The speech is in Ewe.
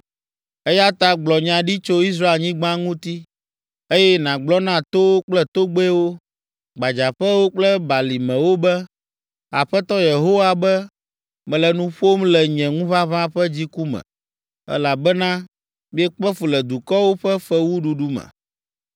Eya ta gblɔ nya ɖi tso Israelnyigba ŋuti, eye nàgblɔ na towo kple togbɛwo, gbadzaƒewo kple balimewo be, “Aƒetɔ Yehowa be, mele nu ƒom le nye ŋuʋaʋã ƒe dziku me, elabena miekpe fu le dukɔwo ƒe fewuɖuɖu me.